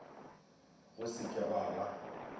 go se ke gwa ba